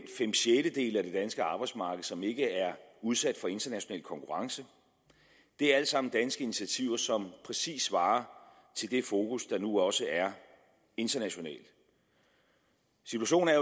fem sjettedele af det danske arbejdsmarked som ikke er udsat for international konkurrence det er alt sammen danske initiativer som præcis svarer til det fokus der nu også er internationalt situationen er